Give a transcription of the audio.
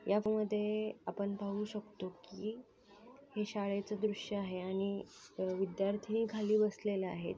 मध्ये आपण पाहू शकतो की हे शाळेच दृश्य आहे आणि विद्यार्थी खाली बसलेला आहे.